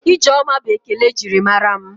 Ijeoma bụ ekele e jiri mara mụ.